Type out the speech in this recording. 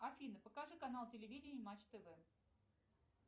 афина покажи канал телевидения матч тв